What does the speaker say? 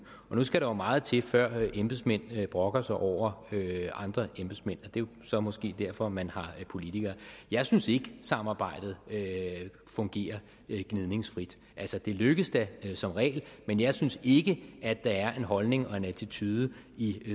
nu skal der meget til før embedsmænd brokker sig over andre embedsmænd det er så måske derfor man har politikere jeg synes ikke at samarbejdet fungerer gnidningsfrit det lykkes da som regel men jeg synes ikke at der er en holdning og en attitude i